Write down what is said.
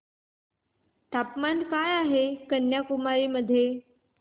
तापमान काय आहे कन्याकुमारी मध्ये